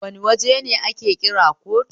Wane waje ne ake kira kotu?